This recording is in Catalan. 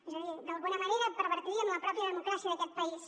és a dir d’alguna manera pervertiríem la pròpia democràcia d’aquest país